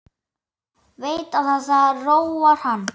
Veit að það róar hann.